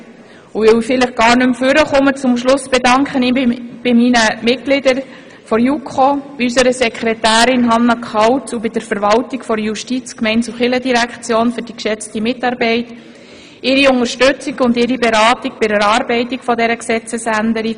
Vielleicht werde ich am Schluss nicht mehr ans Rednerpult kommen, deshalb bedanke ich mich an dieser Stelle bei den Mitgliedern der JuKo, bei unserer Sekretärin Hannah Kauz und bei der Verwaltung der JGK für die geschätzte Mitarbeit und die Unterstützung und Beratung bei der Erarbeitung dieser Gesetzesänderung.